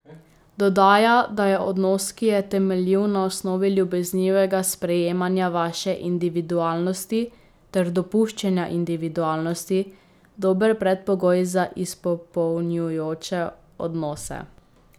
Dodaja, da je odnos, ki je temeljil na osnovi ljubeznivega sprejemanja vaše individualnosti ter dopuščanja individualnosti, dober predpogoj za izpopolnjujoče odnose.